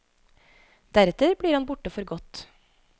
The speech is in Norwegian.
Deretter blir han borte for godt.